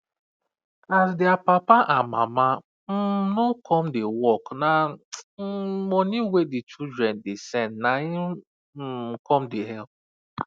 as dia papa and mama um no come da work na um money wey the children da send naim um com da help